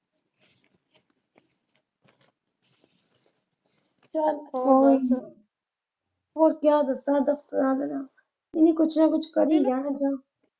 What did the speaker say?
ਚੱਲ ਕੋਈ ਨਾ ਹੁਣ ਕਿਆ ਦੱਸਾਂ . ਇਹ ਵੀ ਕੁਛ ਨਾ ਕੁਛ ਕਰੀ ਜਾ ਮਖਾਂ।